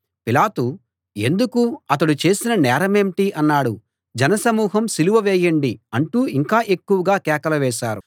పిలాతు ఎందుకు అతడు చేసిన నేరమేంటి అన్నాడు జనసమూహం సిలువ వేయండి అంటూ ఇంకా ఎక్కువగా కేకలు వేశారు